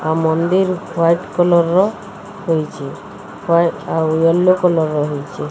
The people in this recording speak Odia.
ଆଉ ମନ୍ଦିର୍ ହ୍ୱାଇଟ୍ କଲର୍ ର ହେଇଚେ। ହ୍ୱା ଆଉ ୟେଲୋ କଲର୍ ର ହେଇଚେ।